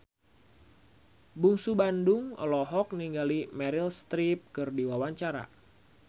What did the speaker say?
Bungsu Bandung olohok ningali Meryl Streep keur diwawancara